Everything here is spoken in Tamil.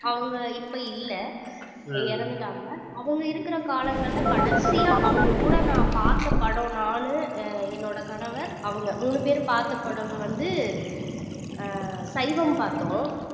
அவங்க இப்ப இல்லை இறந்துட்டாங்க அவங்க இருக்கிற காலங்கள்ல கடைசியா அவங்க கூட நான் பார்த்த படம் நானு அஹ் என்னோட கணவர் அவங்க மூணு பேரும் பார்த்த படம் வந்து ஆஹ் சைவம் பார்த்தோம்